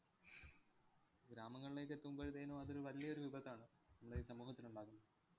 ഗ്രാമങ്ങളിലേക്ക് എത്തുമ്പഴത്തേനും അതൊരു വല്യൊരു വിപത്താണ് നമ്മുടെ ഈ സമൂഹത്തിലുണ്ടാക്കുന്നത്.